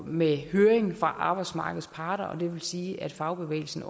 med høringsret arbejdsmarkedets partier vil sige at fagbevægelsen